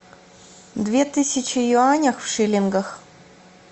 две тысячи юаней в шиллингах